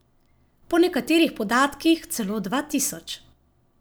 Po nekaterih podatkih celo dva tisoč.